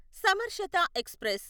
సమర్శత express